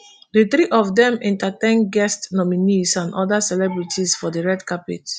di three of dem entertain guests nominees and oda celebrities for di red carpet